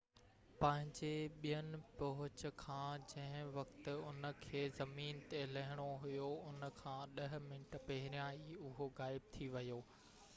پنهنجي ٻئين پهچ کان جنهن وقت ان کي زمين تي لهڻو هيو ان کان ڏهه منٽ پهريان ئي اهو غائب ٿي ويو